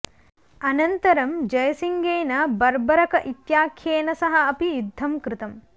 अनन्तरं जयसिंहेन बर्बरक इत्याख्येन सह अपि युद्धं कृतम्